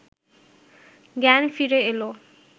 জ্ঞান ফিরে এলে